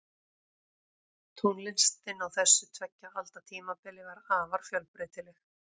Tónlistin á þessu tveggja alda tímabili var afar fjölbreytileg.